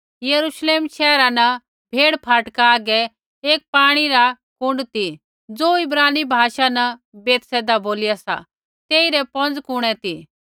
यरूश्लेम शैहरा न भेड़ फाटका आगै एक पाणी रा सौर कुण्ड ती ज़ो इब्रानी भाषा न बैतहसदा बोलिया सा तेइरै पौंज़ कुफरी ती